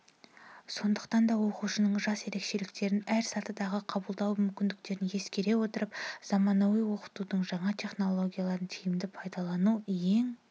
сондықтан да оқушының жас ерекшеліктерін әр сатыдағы қабылдау мүмкіндіктерін ескере отырып заманауи оқытудың жаңа технологияларын тиімді пайдалану ең